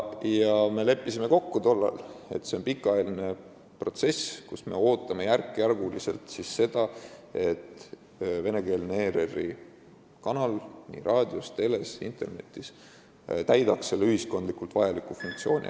Ja me leppisime tollal kokku, et see on pikaajaline protsess: me ootame, et venekeelne ERR-i kanal täidaks nii raadios, teles kui internetis järk-järgult ära selle ühiskondlikult vajaliku funktsiooni.